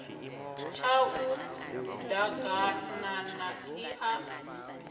tshau d aganana ḽi a